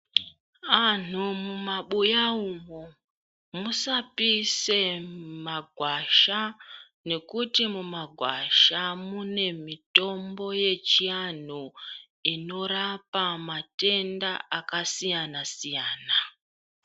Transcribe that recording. Anhu mumabuya umu musapise magwasha nekuti mumagwasha mune mitombo yechiantu inorapa matenda akasiyana siyana.